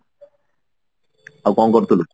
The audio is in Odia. ଆଉ କଣ କରୁଥିଲୁ